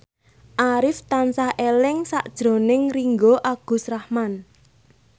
Arif tansah eling sakjroning Ringgo Agus Rahman